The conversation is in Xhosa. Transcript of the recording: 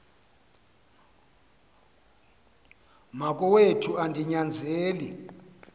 wakowethu andi nyanzeli